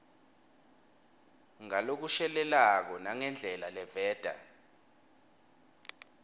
ngalokushelelako nangendlela leveta